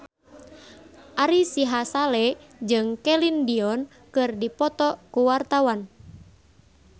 Ari Sihasale jeung Celine Dion keur dipoto ku wartawan